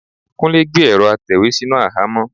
Kúnlé gbé ẹ̀rọ́ atẹ̀wé sínú àhámọ́.